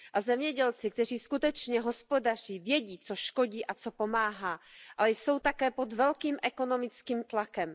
A zemědělci, kteří skutečně hospodaří, vědí, co škodí a co pomáhá, ale jsou také pod velkým ekonomickým tlakem.